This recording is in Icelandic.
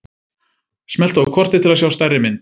Smelltu á kortið til að sjá stærri mynd.